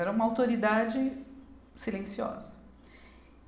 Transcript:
Era uma autoridade silenciosa.